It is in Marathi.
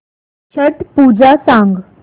छट पूजा सांग